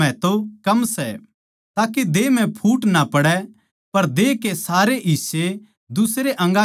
ताके देह म्ह फूट ना पड़ै पर देह के सारे हिस्से दुसरे अंगा की देखभाळ करै